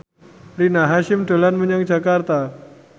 Rina Hasyim dolan menyang Jakarta